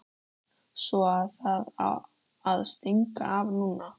Svo að það á að stinga af núna!